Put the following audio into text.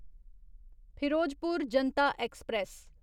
Firozpur Janata express